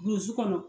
Burusi kɔnɔ